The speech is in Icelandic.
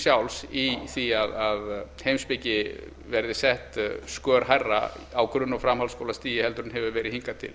sjálfs í því að heimspeki verði sett skör hærra á grunn og framhaldsskólastigi en hefur verið hingað til